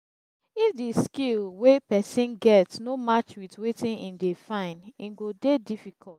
if the skill wey persin get no match with wetin he dey find e go dey difficult